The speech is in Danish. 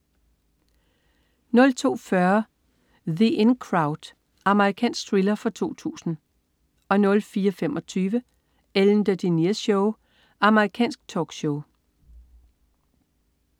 02.40 The In Crowd. Amerikansk thriller fra 2000 04.25 Ellen DeGeneres Show. Amerikansk talkshow